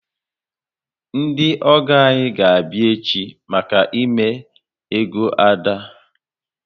Ndi ogo anyị ga abịa echi maka ime ego Ada